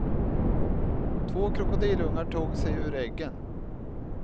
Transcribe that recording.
Två krokodilungar tog sig ur äggen.